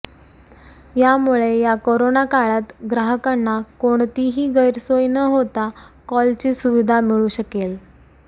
यामुळे या कोरोना काळात ग्राहकांना कोणतीही गैरसोय न होता कॉलची सुविधा मिळू शकेल